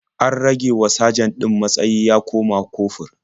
An ragewa sajan ɗin matsayi ya koma kofur.